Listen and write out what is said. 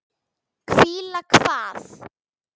Hvíla hvað?